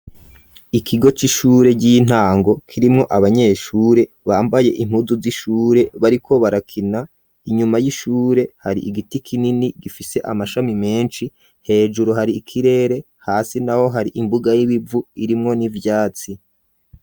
Ikigo c'ishure ry'intango kirimwo abanyeshure bambaye impuzu z'ishure bariko barakina inyuma y'ishure hari igiti kinini gifise amashami menshi hejuru hari ikirere hasi naho hari imbuga y'ibivu irimwo n'ivyatsi.